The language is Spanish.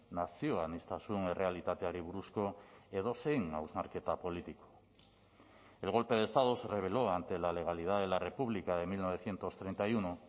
nazio aniztasun errealitateari buruzko edozein hausnarketa politiko el golpe de estado se rebeló ante la legalidad de la república de mil novecientos treinta y uno